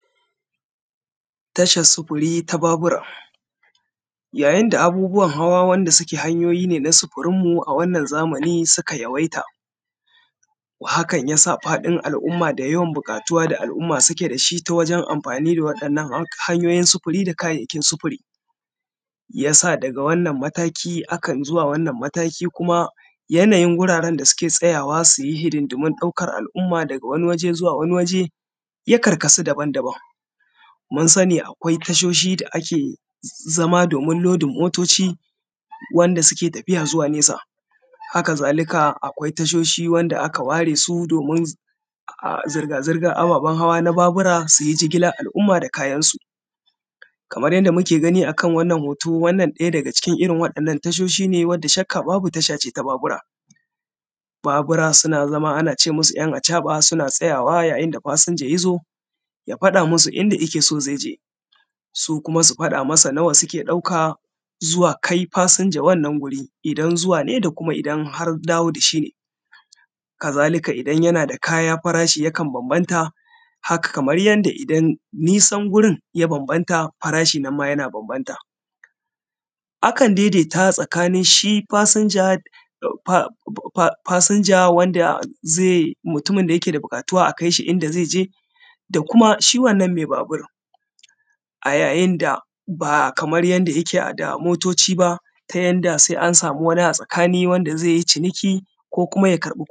Tashar sufuri ta Babura ya yinda abubuwan hawa wanda suke hanyoyi na sufurine a wannan zamani suka yawaita. Hakan yasa faɗin al’umma da yawan buƙatuwa da al’umma suke dashi ta wajen amfani da wannan da waɗannan hanyoyin sufuri da kayan sufuri, yasa daga wannan mataki kan zuwa wannan mataki kuma yanayin gurin da suke tsayawa suyi hidiman ɗaukan al’umma daga wannan ware zuwa wannan ware ya karkasu daban daban. Munsani akwai tashoshi da ake zama dan lodin motoci masu tafiya nesa, haka zalika akwai tashoshi wanda aka waresu domin suyi zirga zirgan ababen hawa na Babura suyi jigilan al’umma da kayansu Kaman yadda kuke gani akan wannan hoto wannan ɗaya daga cikin irrin waɗannan tashoshi ne wanda shakka babu tashace ta Babura. Babura suna zama anace musu ‘yan’ a caɓa suna tsayawa ya yinda fasinja yazo ya faɗa musu inda zaije, su kuma su faɗa masa nawa suke ɗaka zuwa kai fasinja wannan wuri ida zuwa ne da kuma idan har dawo dashi. Haka zalika idan yanada kaya farashi yakan banbanta kamar yanda idan nisan gurin ya banbanta farashi ma yana banbanta, akan daidai ta tsakanin fasinja wanda yakeda buƙatuwa a kaishi inda zaije da kuma shi wannan mai babur a ya yinda ba kamar yadda yake da motoci ba ta yadda sai an samu wani a tsakani wanda zaiyi ciniki ko kuma ya karɓi kuɗi